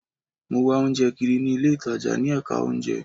Mo wá oúnjẹ kiri ní ilé ìtajà ní ẹ̀ka oúnjẹ